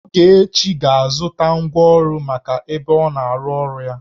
Ogechi ga-azụta ngwa ọrụ maka ebe ọna-arụ ọrụ ya